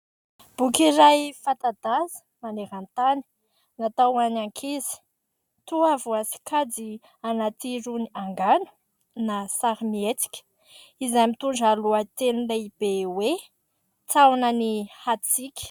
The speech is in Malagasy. Boky iray fanta-daza maneran-tany, natao ho an'ny ankizy. Toa voasokajy anaty irony angano na sarimihetsika izay mitondra lohateny lehibe hoe"taonan'ny hatsika".